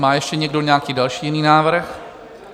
Má ještě někdo nějaký další jiný návrh?